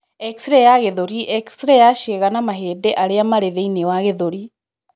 X ray ya gĩthũri :x ray ya ciĩga na mahĩndĩ arĩa marĩ thĩini wa gĩthũri.